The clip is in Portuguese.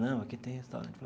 Não, aqui tem restaurante.